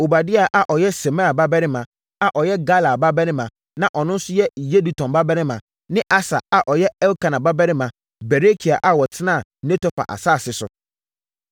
Obadia a ɔyɛ Semaia babarima, a ɔyɛ Galal babarima, na ɔno nso yɛ Yedutun babarima, ne Asa a ɔyɛ Elkana babarima Berekia a wɔtenaa Netofa asase so.